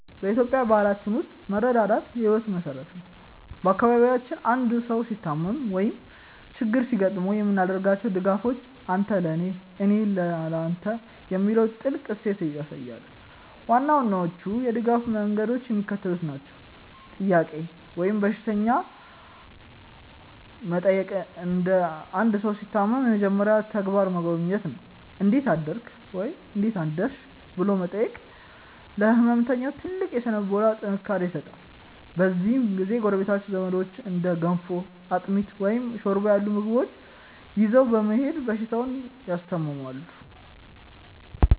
በኢትዮጵያዊ ባህላችን ውስጥ መረዳዳት የሕይወታችን መሠረት ነው። በአካባቢያችን አንድ ሰው ሲታመም ወይም ችግር ሲገጥመው የምናደርጋቸው ድጋፎች "አንተ ለኔ፣ እኔ ለተ" የሚለውን ጥልቅ እሴት ያሳያሉ። ዋና ዋናዎቹ የድጋፍ መንገዶች የሚከተሉት ናቸው፦ "ጥያቄ" ወይም በሽተኛ መጠየቅ አንድ ሰው ሲታመም የመጀመሪያው ተግባር መጎብኘት ነው። "እንዴት አደርክ/ሽ?" ብሎ መጠየቅ ለሕመምተኛው ትልቅ የሥነ-ልቦና ጥንካሬ ይሰጣል። በዚህ ጊዜ ጎረቤቶችና ዘመዶች እንደ ገንፎ፣ አጥሚት፣ ወይም ሾርባ ያሉ ምግቦችን ይዘው በመሄድ በሽተኛውን ያስታምማሉ።